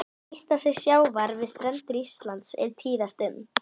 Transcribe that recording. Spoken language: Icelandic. Hitastig sjávar við strendur Íslands er tíðast um